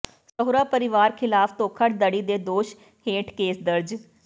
ਸਹੁਰਾ ਪਰਿਵਾਰ ਖ਼ਿਲਾਫ਼ ਧੋਖਾਧੜੀ ਦੇ ਦੋਸ਼ ਹੇਠ ਕੇਸ ਦਰਜ